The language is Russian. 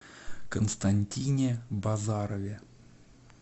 константине базарове